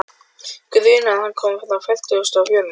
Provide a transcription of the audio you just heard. Grunar að það komi frá fertugustu og fjórðu